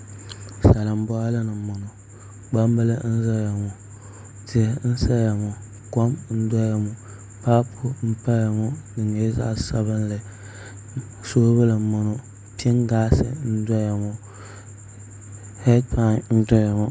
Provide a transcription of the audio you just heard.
Salin boɣali ni n boŋo gbambili n ʒɛya ŋo tihi n saya ŋo kom n doya ŋo paapu n saya ŋo di nyɛla zaɣ sabinli soobuli n boŋo pingaas n doya ŋo heed pai n doya ŋo